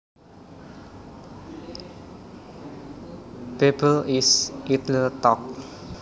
Babble is idle talk